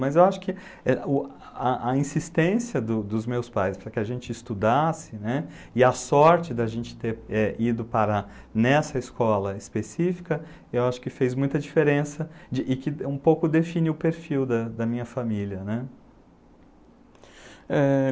Mas eu acho que a, a insistência do, dos meus pais para que a gente estudasse, né, e a sorte da gente ter ido para nessa escola específica, eu acho que fez muita diferença e que um pouco define o perfil da minha família, né. É.